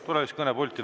Tule siis kõnepulti.